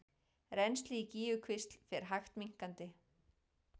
Rennsli í Gígjukvísl fer hægt minnkandi